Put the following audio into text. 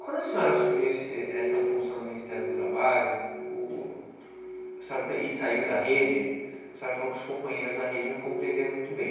Quando a senhora assumiu esse essa função no Ministério do Trabalho e saiu da rede, a senhora falou que os companheiros da rede não compreenderam muito bem.